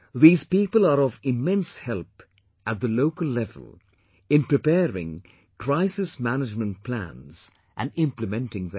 These people are of immense help at the local level in preparing Crisis Management Plans and implementing them